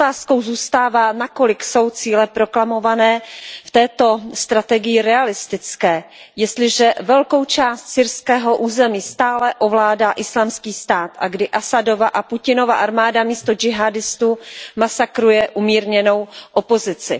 Otázkou zůstává, na kolik jsou cíle proklamované v této strategii realistické, jestliže velkou část syrského území stále ovládá Islámský stát a když Asadova a Putinova armáda místo džihádistů masakruje umírněnou opozici.